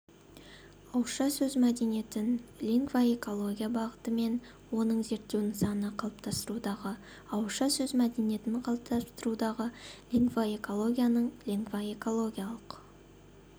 ауызша сөз мәдениетін лингвоэкология бағыты мен оның зерттеу нысаны қалыптастырудағы ауызша сөз мәдениетін қалыптастырудағы лингвоэкологияның лингвоэкологиялық